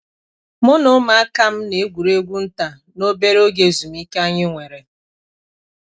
m na umuaka'm na egwuregwu nta n'obere oge ezumike anyi nwere.